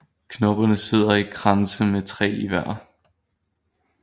Knopperne sidder i kranse med tre i hver